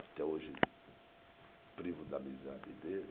Até hoje privo da amizade dele.